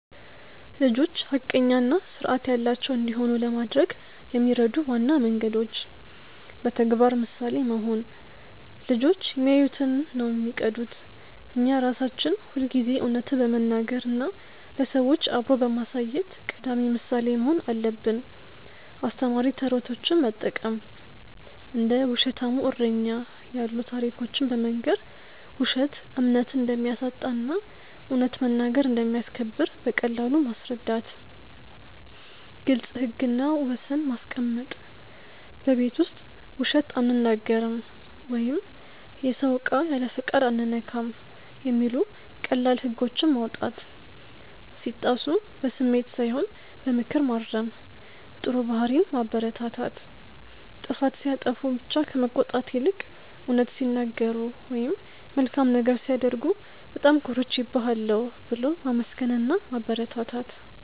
ልጆች ሐቀኛና ስርዐት ያላቸው እንዲሆኑ ለማድረግ የሚረዱ ዋና መንገዶች: በተግባር ምሳሌ መሆን: ልጆች የሚያዩትን ነው የሚቀዱት. እኛ ራሳችን ሁልጊዜ እውነትን በመናገር እና ለሰዎች አብሮ በማሳየት ቀዳሚ ምሳሌ መሆን አለብን. አስተማሪ ተረቶችን መጠቀም: እንደ "ውሸታሙ እረኛ" ያሉ ታሪኮችን በመንገር፣ ውሸት እምነት እንደሚያሳጣ እና እውነት መናገር እንደሚያስከብር በቀላሉ ማስረዳት. ግልጽ ህግና ወሰን ማስቀመጥ: በቤት ውስጥ "ውሸት አንናገርም" ወይም "የሰውን እቃ ያለፈቃድ አንነካም" የሚሉ ቀላል ህጎችን ማውጣት. ሲጣሱ በስሜት ሳይሆን በምክር ማረም. ጥሩ ባህሪን ማበረታታት: ጥፋት ሲያጠፉ ብቻ ከመቆጣት ይልቅ፣ እውነት ሲናገሩ ወይም መልካም ነገር ሲያደርጉ "በጣም ኮርቼብሃለሁ" ብሎ ማመስገንና ማበረታታት.